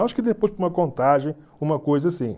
Acho que depois contagem, uma coisa assim.